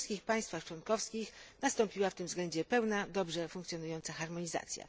We wszystkich państwach członkowskich nastąpiła w tym względzie pełna i dobrze funkcjonująca harmonizacja.